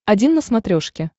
один на смотрешке